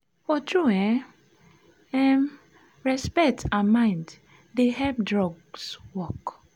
for true en um respect and mind dey help drugs work.